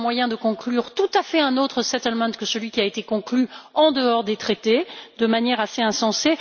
Il y avait un moyen de conclure un tout autre settlement que celui qui a été conclu en dehors des traités de manière assez insensée.